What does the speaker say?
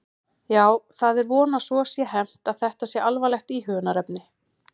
Já, það er von að svo sé hermt að þetta sé alvarlegt íhugunarefni.